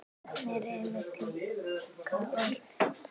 Nöfn eru einmitt líka orð.